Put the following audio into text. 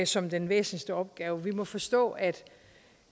som den væsentligste opgave vi må forstå at